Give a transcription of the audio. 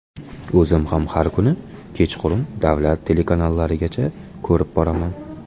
O‘zim ham har kuni kechqurun davlat telekanallarigacha ko‘rib boraman.